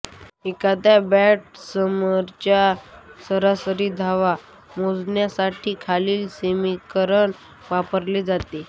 एखाद्या बॅट्समनच्या सरासरी धावा मोजण्यासाठी खालील समीकरण वापरले जाते